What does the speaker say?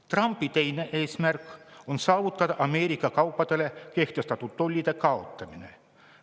Trumpi teine eesmärk on saavutada Ameerika kaupadele kehtestatud tollide kaotamine.